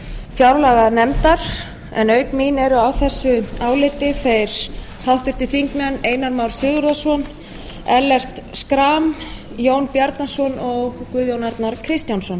fjárlaganefndar en auk mín eru á þessu áliti háttvirtir þingmenn einar már sigurðarson ellert schram jón bjarnason og guðjón arnar kristjánsson